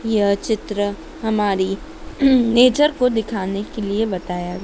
यह चित्र हमारी नेचर को दिखाने के लिए बताया--